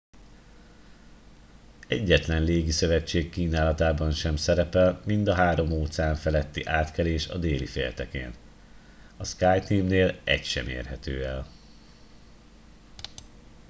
egyetlen légiszövetség kínálatában sem szerepel mind a három óceán feletti átkelés a déli féltekén a skyteam-nél egy sem érhető el